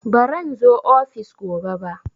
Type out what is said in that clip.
Baran zo ofis gobe ba